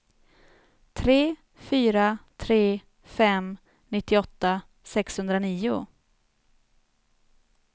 tre fyra tre fem nittioåtta sexhundranio